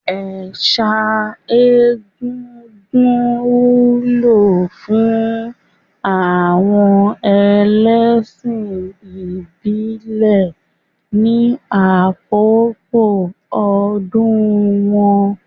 Ẹ̀sà egúngún wúlò fún àwọn ẹlẹ́ṣìn ìbílẹ̀ ní àkókò ọdún wọn.